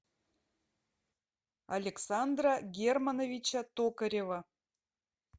александра германовича токарева